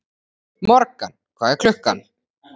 Morgan, hvað er klukkan?